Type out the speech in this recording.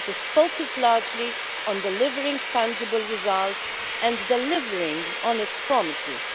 It has focused largely on delivering tangible results and delivering on its promises.